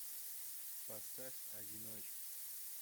поставь одиночки